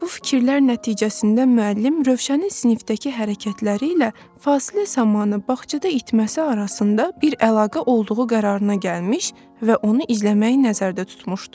Bu fikirlər nəticəsində müəllim Rövşənin sinifdəki hərəkətləri ilə fasilə zamanı bağçada itməsi arasında bir əlaqə olduğu qərarına gəlmiş və onu izləməyi nəzərdə tutmuşdu.